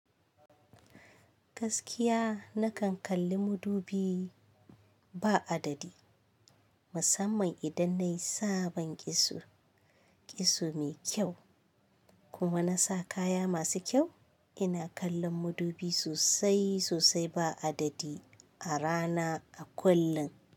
Gaskiya na kan kalli madubi ba adadi. Musamman idan na yi sabon kitso, kitso mai kyau kuma na sa kaya masu kyau. Ina kallon madubi sosai sosai ba adadi a rana a kullun.